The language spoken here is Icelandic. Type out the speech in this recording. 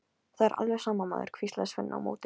Það er alveg sama, maður, hvíslaði Svenni á móti.